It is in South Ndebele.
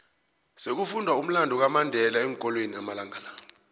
sekufundwa umlando kamandela eenkolweni amalanga la